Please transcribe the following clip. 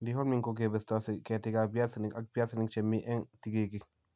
Dehaulming ko kebestosi ketiikap piasinik ak piasinik che mi ang' tigiitik